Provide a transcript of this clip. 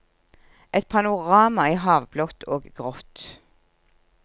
Et panorama i havblått og grått.